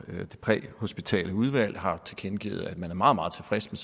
det præhospitale udvalg har tilkendegivet at man er meget meget tilfreds